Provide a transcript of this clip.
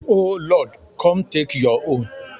O Lord, come take your own.